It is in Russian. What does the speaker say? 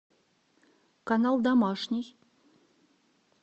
канал домашний